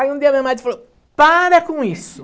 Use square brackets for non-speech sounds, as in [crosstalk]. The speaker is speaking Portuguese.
Aí um dia minha [unintelligible] falou, para com isso.